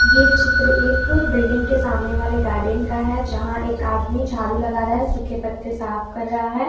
ये चित्र एक बिल्डिंग के सामने वाले गार्डेन का है जहां एक आदमी झाड़ू लगा रहा है सूखे पत्ते साफ कर रहा है।